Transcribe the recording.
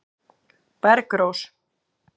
Bergrós